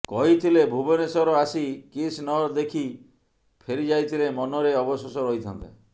କହିଥିଲେ ଭୁବନେଶ୍ୱର ଆସି କିସ୍ ନ ଦେଖି ଫେରି ଯାଇଥିଲେ ମନରେ ଅବଶୋଷ ରହିଥାନ୍ତା